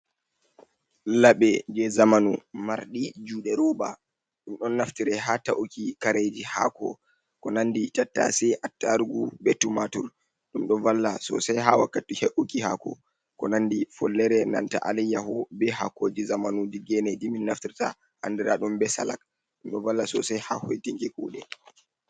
Laɓe je zamanu marɗi juɗe roba ɗum ɗo naftire ha ta’uki kareji haako ko nandi tattasai, attarugu, be tumatur ɗum ɗo valla sosai ha wakkati he’uki haako ko nandi follere, enanta alayyaho be hakoji zamanu ɗi gene ɗum min naftirta andira ɗum be salak ɗum ɗo valla sosai ha hoitinki kuɗe.